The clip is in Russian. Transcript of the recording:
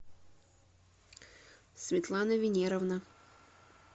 светлана венеровна